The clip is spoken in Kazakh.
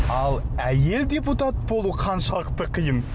ал әйел депутат болу қаншалықты қиын